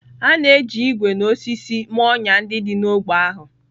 A na-eji ígwè na osisi mee ọnyà ndị dị n'ógbè ahụ.